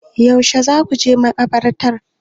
Yaushe za ku je makabartar?